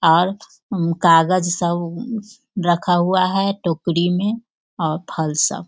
और अम्म कागज़ सब रखा हुआ हैं टोकरी में और फल सब।